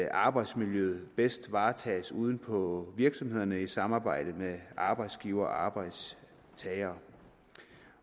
at arbejdsmiljøet bedst varetages ude på virksomhederne i samarbejde med arbejdsgivere og arbejdstagere